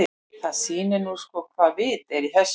Það sýnir nú sko hvaða vit er í þessu.